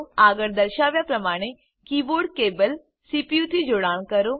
આગળ દર્શાવ્યા પ્રમાણે કીબોર્ડ કેબલ સીપીયુથી જોડાણ કરો